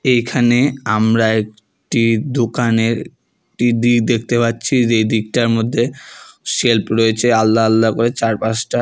এইখানে আমরা একটি দোকানের একটি দিক দেখতে পাচ্ছি এই দিকটার মধ্যে সেলফ রয়েছে আলদা আলদা করে চার পাঁচটা।